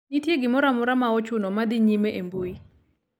nitie gimoro amora ma ochuno madhi nyime e mbu